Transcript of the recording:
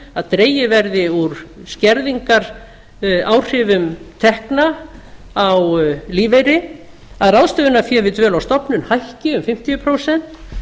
að dregið verði úr skerðingaráhrifum tekna á lífeyri að ráðstöfunarfé við dvöl á stofnun ekki um fimmtíu prósent